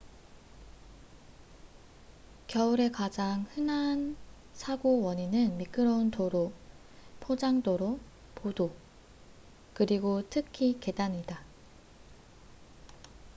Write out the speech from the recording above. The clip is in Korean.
겨울에 가장 흔한 사고 원인은 미끄러운 도로 포장도로보도 그리고 특히 계단이다